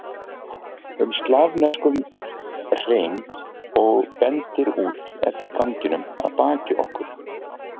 um slavneskum hreim og bendir út eftir ganginum að baki okkur.